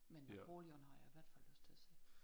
Men Napoleon har jeg i hvert fald lyst til at se